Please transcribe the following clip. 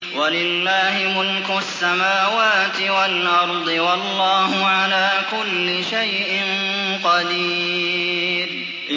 وَلِلَّهِ مُلْكُ السَّمَاوَاتِ وَالْأَرْضِ ۗ وَاللَّهُ عَلَىٰ كُلِّ شَيْءٍ قَدِيرٌ